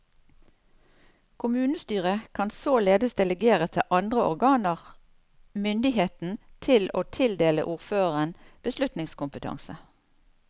Kommunestyret kan således delegere til andre organer myndigheten til å tildele ordføreren beslutningskompetanse.